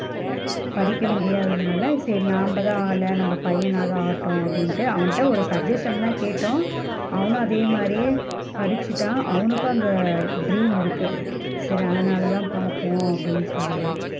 படிக்க முடியாதனலா சரிநாம தான் ஆகல நம்ம பையன்னாவது ஆகட்டும்ன்னு அவன்ட்ட ஒரு suggestion தான் கேட்டோம் அவனும் அதே மாதிரியே படிச்சிட்டான் அவனுக்கு அந்த dream இருக்கு சரி அதனால தான் பாப்போம் அப்படின்னு சொல்லி தான்.